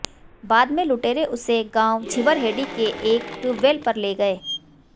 बाद में लुटेरे उसे गांव झींवरहेड़ी के एक ट्यूबवैल पर ले गए